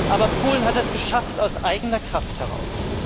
Aber Polen hat es geschafft, aus eigener Kraft heraus.